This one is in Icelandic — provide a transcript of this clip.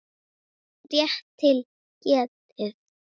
Rétt til getið.